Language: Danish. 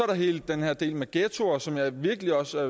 der hele den her del med ghettoer som jeg virkelig også